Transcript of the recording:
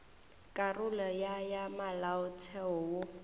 karolo ya ya molaotheo wo